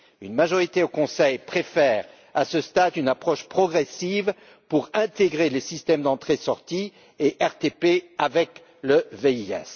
Une majorité au Conseil préfère, à ce stade, une approche progressive pour intégrer le système d'entrée sortie et le RTP dans le VIS.